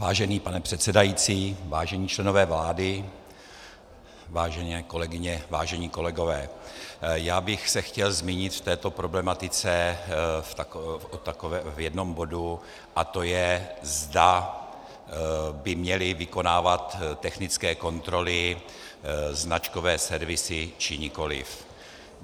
Vážený pane předsedající, vážení členové vlády, vážené kolegyně, vážení kolegové, já bych se chtěl zmínit v této problematice o jednom bodu, a to je, zda by měly vykonávat technické kontroly značkové servisy, či nikoliv.